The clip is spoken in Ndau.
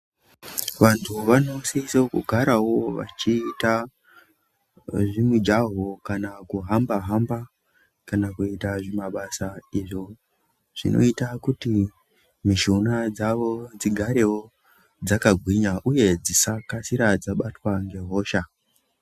Vantu vano sise kugarawo vachiita zvi mijaho kana kuhamba hamba kana kuita zvi mabasa izvo zvinoita kuti mishuna dzavo dzigarewo dzaka gwinya uye dzisa kasira dzabatwa nge hosha.